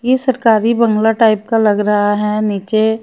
ये सरकारी बंगला टाइप का लग रहा है नीचे--